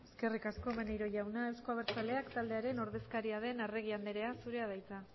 eskerrik asko maneiro jauna euzko abertzaleak taldearen ordezkaria den arregi andrea zurea da hitza